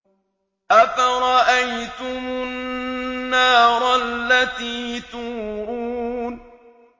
أَفَرَأَيْتُمُ النَّارَ الَّتِي تُورُونَ